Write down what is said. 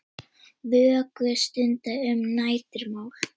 Vöku stunda um nætur má.